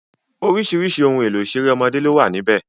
Orísìírísìí ohun ìṣeré ọmọdé ló wà níbẹ̀